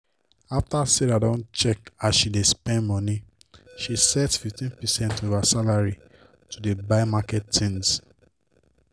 after sarah don check as she dey spend money she set 15 percent of her salary to dey buy market tins.